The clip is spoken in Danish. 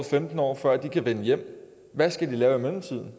femten år før de kan vende hjem hvad skal de lave i mellemtiden